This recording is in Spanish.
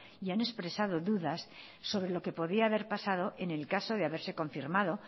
y han expresado dudas sobre lo que podía haber pasado en el caso de haberse confirmado